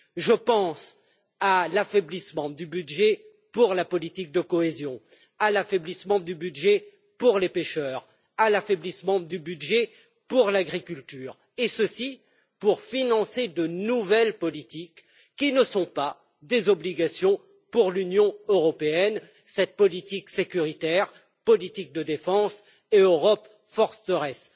Je pense à l'affaiblissement du budget pour la politique de cohésion, à l'affaiblissement du budget pour les pêcheurs, à l'affaiblissement du budget pour l'agriculture et ceci pour financer de nouvelles politiques qui ne sont pas des obligations pour l'Union européenne politique sécuritaire, politique de défense et Europe forteresse.